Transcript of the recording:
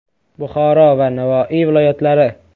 Buxoro va Navoiy viloyatlari.